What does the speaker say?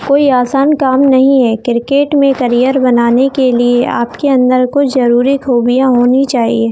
कोई आसान काम नहीं है क्रिकेट में करियर बनाने के लिए आपके अंदर कुछ जरूरी खूबियां होनी चाहिए।